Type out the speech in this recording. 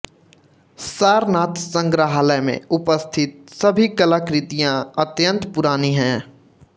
सारनाथ संगृहालय मे उपस्थित सभी कलाकृतियाँ अत्यंत पुरानी हैं